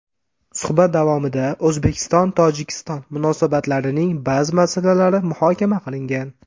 Suhbat davomida O‘zbekistonTojikiston munosabatlarining ba’zi masalalari muhokama qilingan.